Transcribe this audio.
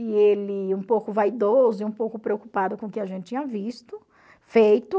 E ele um pouco vaidoso e um pouco preocupado com o que a gente tinha visto, feito.